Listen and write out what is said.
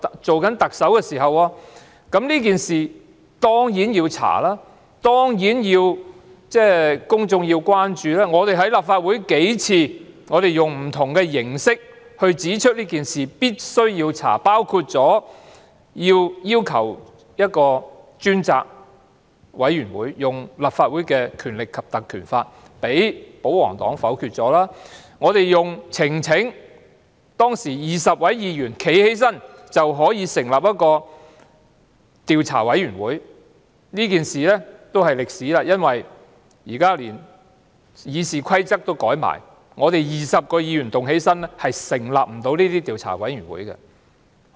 這件事當然要調查，公眾當然關注，我們在立法會數次使用不同形式指出這件事必須調查，包括要求引用《立法會條例》成立專責委員會，但被保皇黨否決；我們用呈請的方式——當時只要有20位議員站起來，便可以成立一個調查委員會，但這件事已成為歷史，因為現時連《議事規則》亦已修改 ，20 位議員站起來也無法成立調查委員會。